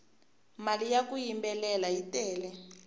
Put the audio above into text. mali ya ku yimbelela yi tele